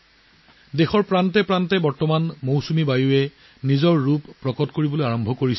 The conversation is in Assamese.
বাৰিষা দেশৰ বিভিন্ন ঠাইত নিজৰ ৰং দ্ৰুতগতিত সলনি কৰিছে